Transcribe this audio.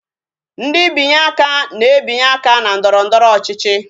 Ndị binye aka na-ebinye aka na ndọrọndọrọ ọchịchị